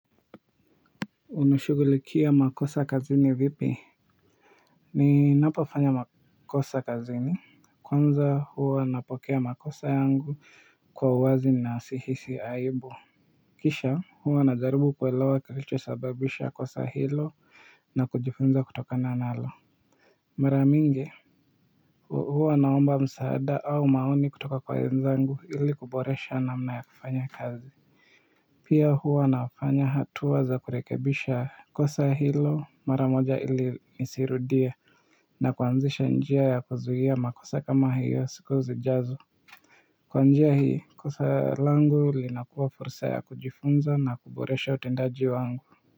Unashughulikia makosa kazini vipi ninapofanya makosa kazini kwanza huwa napokea makosa yangu kwa uwazi na sihisi aibu kisha huwa najaribu kuelewa kilichosababisha kosa hilo na kujifunza kutokana nalo mara mingi huwa naomba msaada au maoni kutoka kwa wenzangu ili kuboresha namna ya kufanya kazi pia huwa nafanya hatua za kurekebisha kosa hilo mara moja ili nisirudie na kwanzisha njia ya kuzuia makosa kama hiyo siku zijazo kwa njia hii kosa langu linakuwa fursa ya kujifunza na kuboresha utendaji wangu.